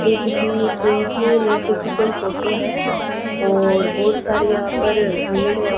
ये किसी पुल के नीचे की कोई फोटो है और बहोत सारी यहां पर भीड़ है।